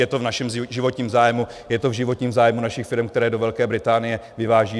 Je to v našem životním zájmu, je to v životním zájmu našich firem, které do Velké Británie vyvážejí.